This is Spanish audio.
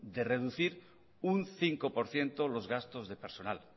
de reducir un cinco por ciento los gastos de personal